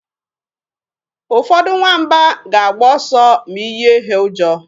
Ụfọdụ nwamba ga-agba ọsọ ma ị yie ha ụjọ.